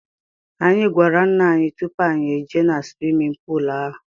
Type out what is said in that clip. Anyị gwara ńnà anyị tụpụ anyị ejee na swimin poolu ahụ.